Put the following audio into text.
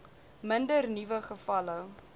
minder nuwe gevalle